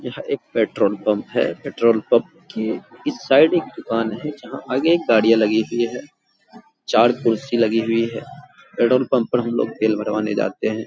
यह एक petrol pump है। पेट्रोल पम्प के इस साइड एक दुकान है जहाँ आगे गाड़ियाँ लगी हुई है। चार कुर्सी लगी हुई है। पेट्रोल पम्प पर हमलोग तेल भरवाने जाते हैं।